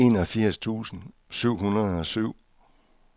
enogfirs tusind syv hundrede og syv